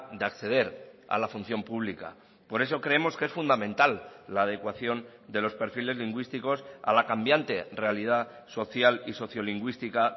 de acceder a la función pública por eso creemos que es fundamental la adecuación de los perfiles lingüísticos a la cambiante realidad social y sociolingüística